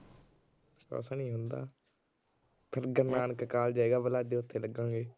ਕੁਛ ਨੀ ਹੁੰਦਾ। ਗੁਰੂ ਨਾਨਕ ਕਾਲਜ ਹੈਗਾ, ਫਿਰ ਉਥੇ ਲਗਾਂਗੇ।